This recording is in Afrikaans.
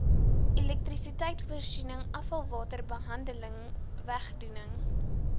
elektrisiteitvoorsiening afvalwaterbehandeling wegdoening